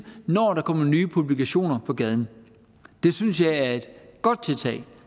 når der kommer nye publikationer på gaden det synes jeg er et godt tiltag